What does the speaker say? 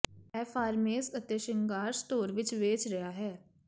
ਇਹ ਫਾਰਮੇਸ ਅਤੇ ਸ਼ਿੰਗਾਰ ਸਟੋਰ ਵਿੱਚ ਵੇਚ ਰਿਹਾ ਹੈ